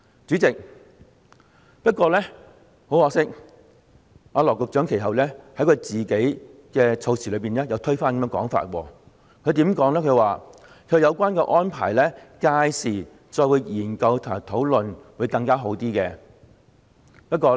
主席，不過，很可惜，羅局長其後卻推翻自己發言動議有關議案時的這個說法。他說屆時再就有關安排作研究和討論會更加好。